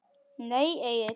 Nei Egill.